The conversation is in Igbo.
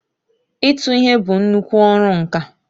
ịtụ ihe bụ nnuku ọrụ nka.